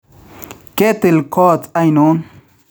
Ketil koot ainoon?